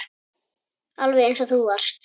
Alveg eins og þú varst.